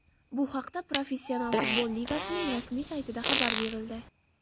Bu haqda Professional futbol ligasining rasmiy saytida xabar berildi .